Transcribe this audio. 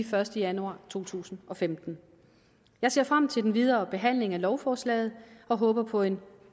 første januar to tusind og femten jeg ser frem til den videre behandling af lovforslaget og håber på en